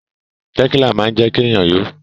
Tẹ̀kílà máa ń jẹ́kí èèyàn yó